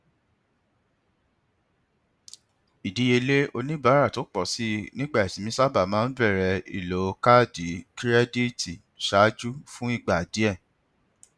ìdíyelé oníbàárà tó pọ síi nígbà ìsinmi sábà ń bẹrẹ ìlò kaádì kirẹdítì ṣáájú fún ìgbà díè